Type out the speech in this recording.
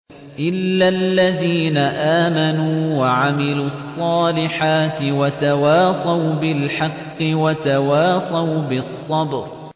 إِلَّا الَّذِينَ آمَنُوا وَعَمِلُوا الصَّالِحَاتِ وَتَوَاصَوْا بِالْحَقِّ وَتَوَاصَوْا بِالصَّبْرِ